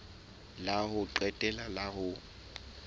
la ho qetela la ho